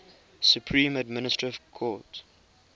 supreme administrative court